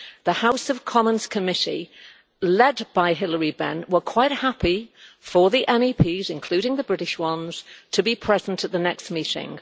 The House of Commons committee, led by Hilary Benn, were quite happy for the MEPs, including the British ones, to be present at the next meeting.